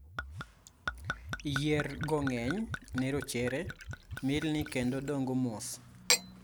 yier go ng'eny ne rochere, milni kendo dongo mos